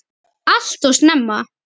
Allt of snemma.